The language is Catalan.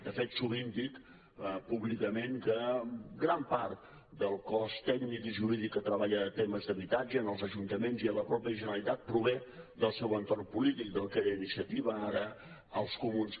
de fet sovint dic públicament que gran part del cos tècnic i jurídic que treballa temes d’habitatge en els ajuntaments i a la mateixa generalitat prové del seu entorn polític del que era iniciativa ara els comuns